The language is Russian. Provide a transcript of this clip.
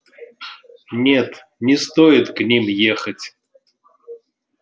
нет не стоит к ним ехать